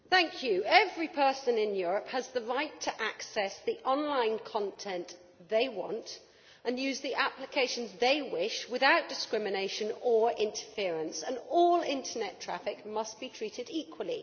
Mr President, every person in Europe has the right to access the online content they want and use the applications they wish without discrimination or interference, and all internet traffic must be treated equally.